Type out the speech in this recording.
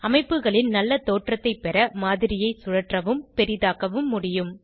அமைப்புகளின் நல்ல தோற்றத்தைப் பெற மாதிரியை சுழற்றவும் பெரிதாக்கவும் முடியும்